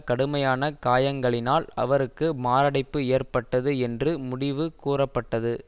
கடுமையான காயங்களினால் அவருக்கு மாரடைப்பு ஏற்பட்டது என்று முடிவு கூறப்பட்டது